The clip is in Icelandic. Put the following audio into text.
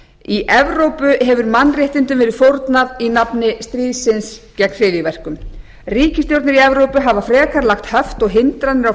í evrópu hefur mannréttindum verið fórnað í nafni stríðsins gegn hryðjuverkum ríkisstjórnir í evrópu hafa frekar lagt höft og hindranir á